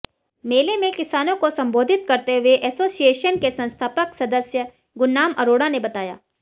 मेले में किसानों को संबोधित करते हुए एसोसिएशन के संस्थापक सदस्य गुरनाम अरोड़ा ने बताया